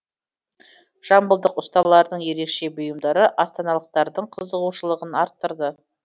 жамбылдық ұсталардың ерекше бұйымдары астаналықтардың қызығушылығын арттырды